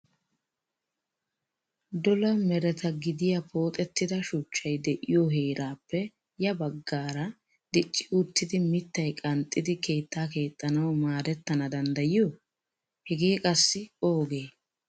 Dola meretta gidiya pooxettida shuchchay de'iyo heerappe ya baggaara dicci uttidi mittay qanxxidi keetta keexxanawu maaddetana danddayiyo? Hege qassi oogee?